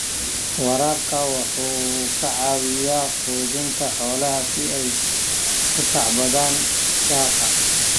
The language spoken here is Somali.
Waraabka waxa uu ka caawiyaa quudinta xoolaha si ay u tacbadaan daaqa.